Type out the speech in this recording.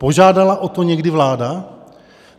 Požádala o to někdy vláda?